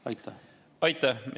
Aitäh!